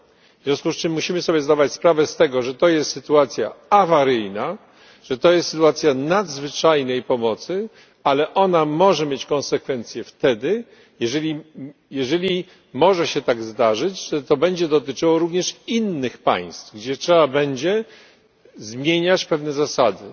W związku z czym musimy sobie zdawać sprawę z tego, że to jest sytuacja awaryjna, że to jest sytuacja nadzwyczajnej pomocy, ale ona może mieć konsekwencje wtedy, jeżeli może się tak zdarzyć, że to będzie dotyczyło również innych państw, gdzie trzeba będzie zmieniać pewne zasady.